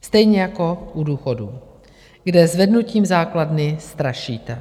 stejně jako u důchodů, kde zvednutím základny strašíte.